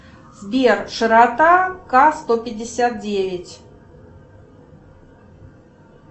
сбер широта ка сто пятьдесят девять